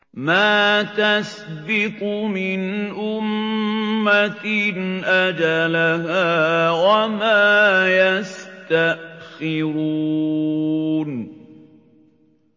مَّا تَسْبِقُ مِنْ أُمَّةٍ أَجَلَهَا وَمَا يَسْتَأْخِرُونَ